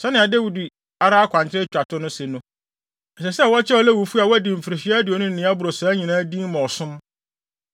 Sɛnea Dawid no ara akwankyerɛ a etwa to no se no, ɛsɛ sɛ wɔkyerɛw Lewifo a wɔadi mfirihyia aduonu ne nea ɛboro saa nyinaa din ma ɔsom.